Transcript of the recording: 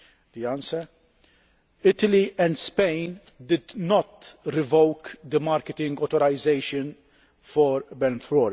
The answer Italy and Spain did not revoke the marketing authorisation for benfluorex.